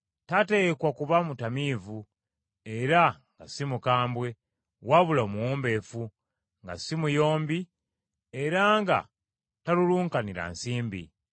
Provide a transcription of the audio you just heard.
Tateekwa kuba mutamiivu, era nga si mukambwe, wabula omuwombeefu, nga si muyombi era nga talulunkanira nsimbi.